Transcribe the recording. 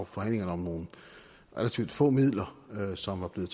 forhandlingerne om nogle relativt få midler som var blevet